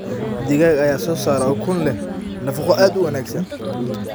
Digaag ayaa soo saara ukun leh nafaqo aad u wanaagsan.